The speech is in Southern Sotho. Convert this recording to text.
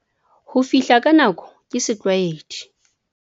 Ho fihla ka nako ke setlwaedi.